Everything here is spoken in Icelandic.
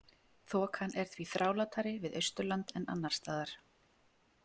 Þokan er því þrálátari við Austurland en annars staðar.